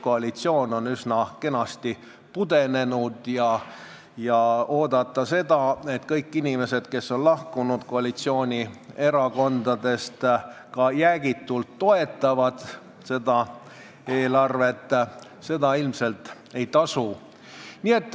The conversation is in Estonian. Koalitsioon on üsna kenasti pudenenud ja ilmselt ei tasu oodata, et kõik inimesed, kes on koalitsioonierakondadest lahkunud, seda eelarvet jäägitult toetavad.